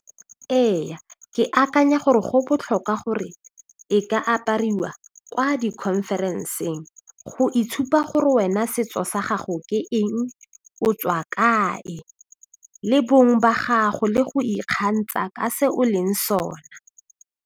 Ee ke akanya gore go botlhokwa gore e ka apariwa kwa di-conference-eng go itshupa gore wena setso sa gago ke eng o tswa kae le bong ba gago le go ikgantsha ka se o leng sona.